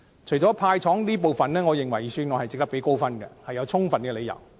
除了"派糖"這部分外，我認為有充分理由值得給予預算案一個高分數。